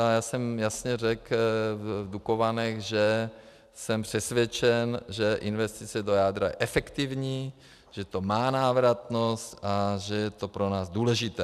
A já jsem jasně řekl v Dukovanech, že jsem přesvědčen, že investice do jádra je efektivní, že to má návratnost a že je to pro nás důležité.